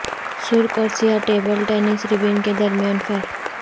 سرخ اور سیاہ ٹیبل ٹینس ربن کے درمیان فرق